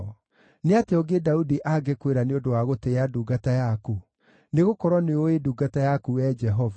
“Nĩ atĩa ũngĩ Daudi angĩkwĩra nĩ ũndũ wa gũtĩĩa ndungata yaku? Nĩgũkorwo nĩũũĩ ndungata yaku, Wee Jehova.